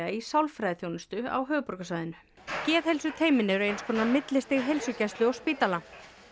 í sálfræðiþjónustu á höfuðborgarsvæðinu geðheilsuteymin eru eins konar millistig heilsugæslu og spítala